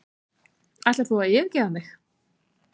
ætlar þú að yfirgefa mig